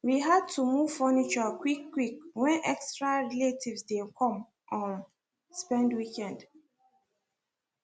we had to move furniture quick quick when extra relatives dey come um spend weekend